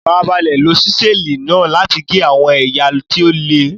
Farabalẹ̀ lo Ṣísẹ́ẹ̀lì náà láti gé àwọn ẹ̀yà tí ó le.